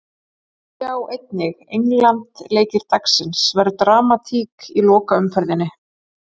Sjá Einnig: England- Leikir dagsins: Verður dramatík í lokaumferðinni?